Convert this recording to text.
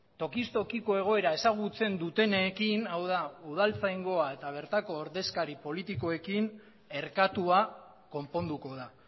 tokiz tokiko egoera ezagutzen dutenekin hau da udaltzaingoa eta bertako ordezkari politikoekin erkatua konponduko da